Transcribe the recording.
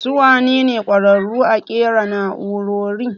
Su wane ne ƙwararu a ƙera nau'rori?